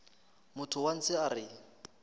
motho wa ntshe a re